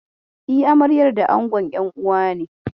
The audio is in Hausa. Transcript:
Eh, amaryar da angon.'yan uwane.